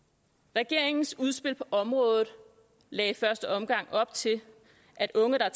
regeringens udspil på området lagde i første omgang op til at unge der